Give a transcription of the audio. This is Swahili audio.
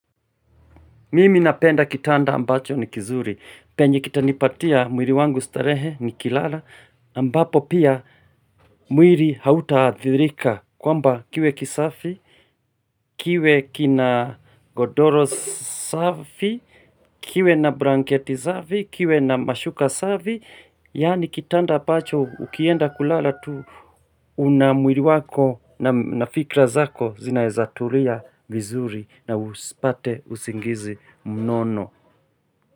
Mimi napenda kitanda ambacho ni kizuri, penye kitanipatia mwili wangu starehe nikilala, ambapo pia mwili hautaadhirika kwamba kiwe kisafi. Kiwe kina godoro safi, kiwe na blanketi safi, kiwe na mashuka safi, yaani kitanda ambacho ukienda kulala tu una mwili wako na fikra zako zinawezatulia vizuri na usipate usingizi mnono.